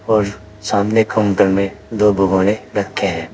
और सामने काउंटर में दो भगौने रखे हैं।